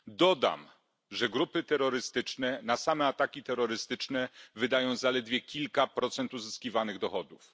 Dodam, że grupy terrorystyczne na same ataki terrorystyczne wydają zaledwie kilka procent uzyskiwanych dochodów.